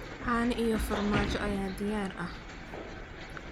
Caano iyo farmaajo ayaa diyaar ah.